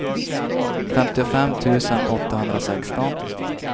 femtiofem tusen åttahundrasexton